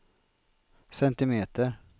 centimeter